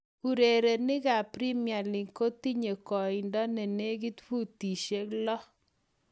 Urerenikap Premier league kotinye koindo ne nekit futishek lo